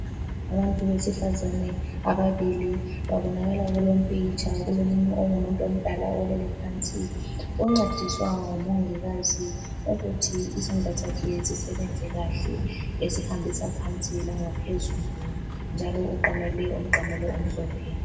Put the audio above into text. Abantu besifazane ababili babonakala kulompikitsha. Kulomunye ongumuntu omdala olele phansi oncediswa ngumongikazi ukuthi isandla sakhe sisebenze kahle, esihambisa phansi langaphezulu, njalo uqamele umqamelo omhlophe.